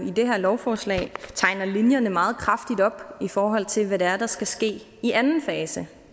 i det her lovforslag tegner linjerne meget kraftigt op i forhold til hvad det er der skal ske i anden fase